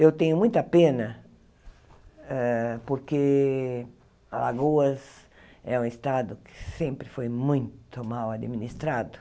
Eu tenho muita pena ah porque Alagoas é um estado que sempre foi muito mal administrado.